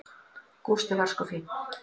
Gústi var sko fínn.